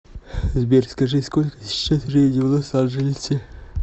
сбер скажи сколько сейчас времени в лос анджелесе